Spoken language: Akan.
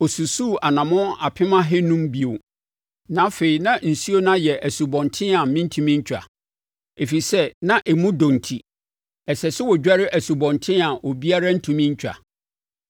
Ɔsusuu anammɔn apem ahanum (500,000) bio na afei na nsuo no ayɛ asubɔnten a merentumi ntwa, ɛfiri sɛ na emu dɔ enti, ɛsɛ sɛ wɔdware asubɔnten a obiara ntumi ntwa.